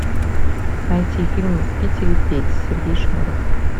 найти фильм в питере петь сергей шнуров